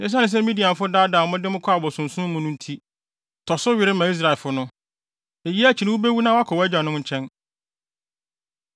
“Esiane sɛ Midianfo daadaa mo de mo kɔɔ abosonsom mu no nti, tɔ so were ma Israelfo no. Eyi akyi no wubewu na woakɔ wʼagyanom nkyɛn.”